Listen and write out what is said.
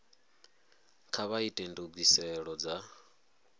kha vha ite ndugiselo dza